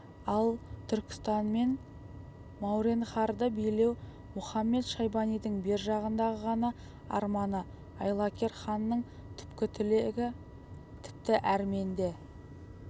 ал түркістан мен мауреннахрды билеу мұхамед-шайбанидың бер жағындағы ғана арманы айлакер ханның түпкі тілегі тіпті әрменде